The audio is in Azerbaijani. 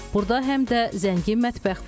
Burda həm də zəngin mətbəx var.